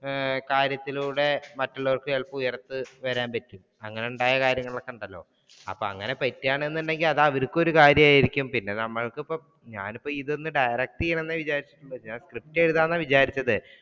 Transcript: ഏർ കാര്യത്തിലൂടെ മറ്റുള്ളവർക്ക് ചിലപ്പോ ഉയർന്നു വരാൻ അങ്ങനയുണ്ടായ കാര്യങ്ങൾ ഒക്കെയുണ്ടല്ലോ അപ്പൊ അങ്ങനെ പറ്റൂകയാണെന്നുണ്ടെങ്കിൽ അത് അവർക്കും ഒരു കാര്യമായിരിക്കും പിന്നെ നമ്മൾക്കിപ്പോ ഞാൻ ഇപ്പം ഇതൊന്നു direct ചെയ്യണം എന്നെ വിചാരിച്ചിട്ട് ഉള്ളൂ script എഴുതാം, എന്നാണ് വിചാരിച്ചതു